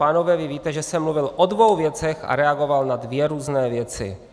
Pánové, vy víte, že jsem mluvil o dvou věcech a reagoval na dvě různé věci.